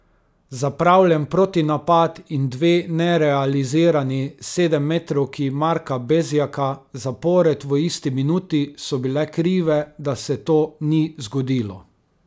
Zapravljen protinapad in dve nerealizirani sedemmetrovki Marka Bezjaka zapored v isti minuti so bile krive, da se to ni zgodilo.